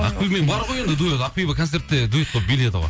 ақбибімен бар ғой енді дуэт ақбибі концертте дуэт болып биледі ғой